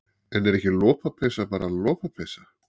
En er ekki lopapeysa bara lopapeysa?